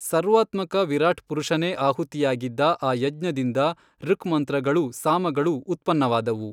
ಸರ್ವಾತ್ಮಕ ವಿರಾಟ್ ಪುರುಷನೆ ಆಹುತಿಯಾಗಿದ್ದ ಆ ಯಜ್ಞದಿಂದ ಋಕ್ ಮಂತ್ರಗಳೂ ಸಾಮಗಳೂ ಉತ್ಪನ್ನವಾದುವು.